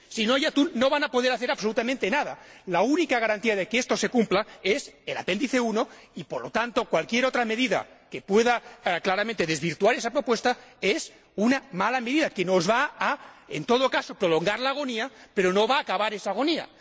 Si no hay atún no van a poder hacer absolutamente nada. La única garantía de que esto se cumpla es el Apéndice I y, por lo tanto, cualquier otra medida que pueda claramente desvirtuar esa propuesta es una mala medida que, en todo caso, va a prolongar la agonía pero no va acabar esa agonía.